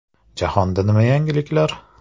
Jahonda nima yangiliklar?